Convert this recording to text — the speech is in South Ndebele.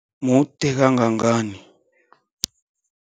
Mude kangangani?